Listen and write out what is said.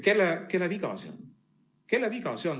Ja kelle viga see on?